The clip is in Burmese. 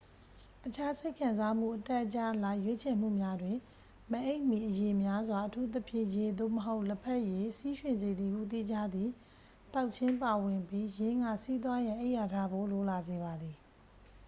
အခြား စိတ်ခံစားမှု အတက်အကျအလိုက် ရွေးချယ်မှုများတွင် မအိပ်မီ အရည်များစွာ အထူးသဖြင့် ရေ သို့မဟုတ် လက်ဖက်ရည်၊ ဆီးရွှင်စေသည်ဟု သိကြသည့် သောက်ခြင်း ပါဝင်ပြီး ယင်းက ဆီးသွားရန် အိပ်ယာထဖို့ လိုလာစေပါသည်။